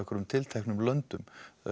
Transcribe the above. tilteknum löndum